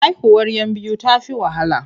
Haihuwar 'yan biyu ta fi wahala.